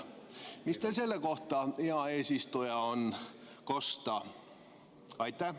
Mis teil selle kohta, hea eesistuja, kosta on?